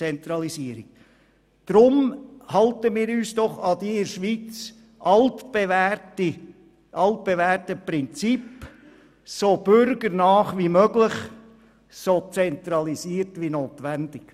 Halten wir uns doch an das in der Schweiz altbewährte Prinzip: so bürgernah wie möglich und so zentralisiert wie notwendig.